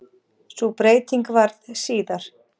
Sú breyting varð síðar.